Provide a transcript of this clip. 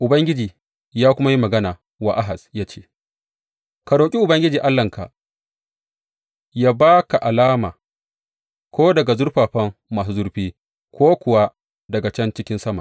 Ubangiji ya kuma yi magana wa Ahaz ya ce, Ka roƙi Ubangiji Allahnka yă ba ka alama, ko daga zurfafa masu zurfi ko kuwa daga can cikin sama.